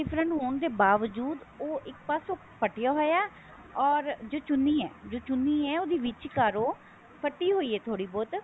different ਹੋਣ ਦੇ ਬਾਵਜੂਦ ਉਹ ਇੱਕ ਪਾਸੋਂ ਫਟਿਆ ਹੋਇਆ or ਜੋ ਚੁੰਨੀ ਹੈ ਉਹ ਵੀ ਵਿਚਕਾਰੋ ਫੱਟੀ ਹੋਈ ਹੈ ਥੋੜੀ ਬਹੁਤ